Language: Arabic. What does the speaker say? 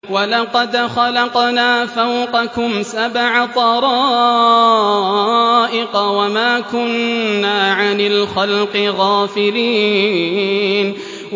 وَلَقَدْ خَلَقْنَا فَوْقَكُمْ سَبْعَ طَرَائِقَ وَمَا كُنَّا عَنِ الْخَلْقِ غَافِلِينَ